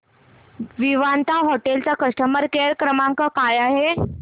Vivanta hotel चा customer care क्रमांक काय आहे